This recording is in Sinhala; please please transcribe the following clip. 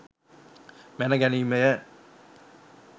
මැන ගැනීම ය.